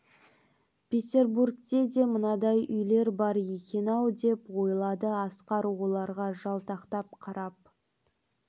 петербургте де мынадай үйлер бар екен-ау деп ойлады асқар оларға жалтақтап қарап